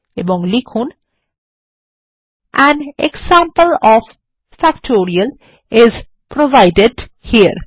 এবং লিখুন160 an example of factorial is provided হেরে